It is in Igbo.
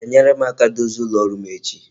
I ga-enyere m aka dozie ụlọ rụọ m echi?